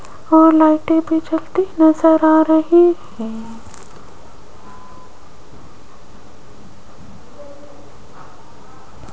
और लाइटें भी जलती नजर आ रही है।